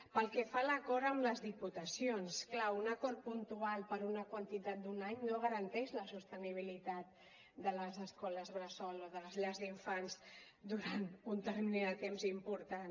pel que fa a l’acord amb les diputacions clar un acord puntual per una quantitat d’un any no garanteix la sostenibilitat de les escoles bressol o de les llars d’infants durant un termini de temps important